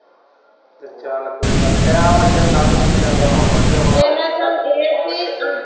ਚੱਲ ਕੋਈ ਗੱਲ ਨੀ ਟਾਈਮ ਇਦਾ ਈ ਨਾਂਗ ਨੰਗ ਜਾਂਦਾ ਹੁਣ ਵਧਿਆ ਬਣਾ ਲਿਆ ਸਗੋਂ